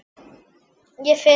Ég finn